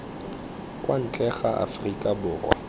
kwa ntle ga aforika borwa